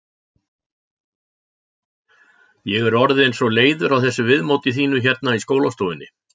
Ég er orðin svo leiður á þessu viðmóti þínu hérna í skólastofunni.